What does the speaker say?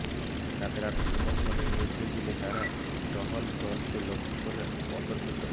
তাদের আত্মসমর্পণের নির্দেশ দিলে তারা টহল দলকে লক্ষ্য করে অতর্কিত